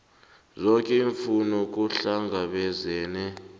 zoke iimfuno kuhlangabezwene